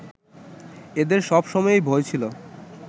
এদের সব সময়েই ভয় ছিল